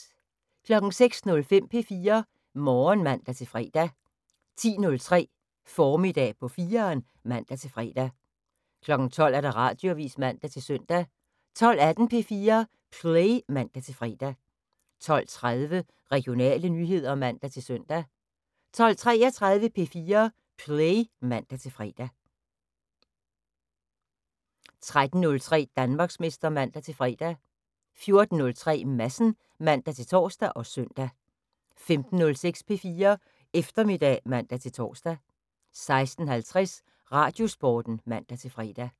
06:05: P4 Morgen (man-fre) 10:03: Formiddag på 4'eren (man-fre) 12:00: Radioavis (man-søn) 12:18: P4 Play (man-fre) 12:30: Regionale nyheder (man-søn) 12:33: P4 Play (man-fre) 13:03: Danmarksmester (man-fre) 14:03: Madsen (man-tor og søn) 15:06: P4 Eftermiddag (man-tor) 16:50: Radiosporten (man-fre)